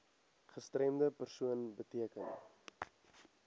gestremde persoon beteken